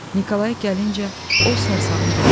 Nikolay gəlincə, o sarsağın biridir.